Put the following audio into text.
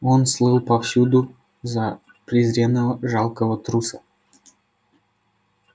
он слыл повсюду за презренного жалкого труса